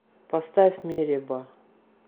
поставь мереба